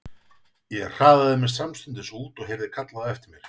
Ég hraðaði mér samstundis út og heyrði kallað á eftir mér.